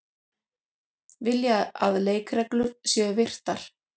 Vilja að leikreglur séu virtar